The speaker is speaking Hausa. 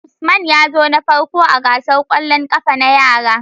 Usman yazo na farko ah gasar kwallin kafa na yara